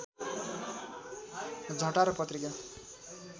झटारो पत्रिका